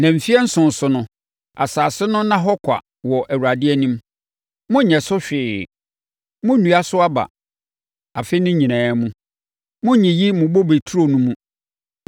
Na mfeɛ nson so no, asase no nna hɔ kwa wɔ Awurade anim. Monnyɛ so hwee. Monnnua so aba. Afe no nyinaa mu, monnyiyi mo bobe turo no mu.